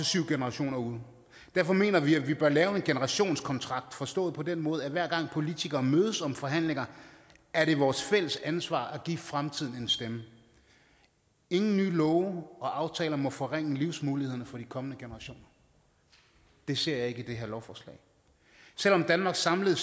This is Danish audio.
syv generationer ude derfor mener vi at vi bør lave en generationskontrakt forstået på den måde at hver gang politikere mødes og forhandler er det vores fælles ansvar at give fremtiden en stemme ingen nye love og aftaler må forringe livsmulighederne for de kommende generationer det ser jeg ikke i det her lovforslag selv om danmarks samlede